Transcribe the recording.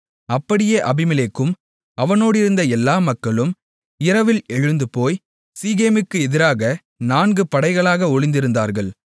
அப்படியே அபிமெலேக்கும் அவனோடிருந்த எல்லா மக்களும் இரவில் எழுந்துபோய் சீகேமுக்கு எதிராக நான்கு படைகளாக ஒளிந்திருந்தார்கள்